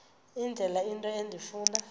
indlela into endifuna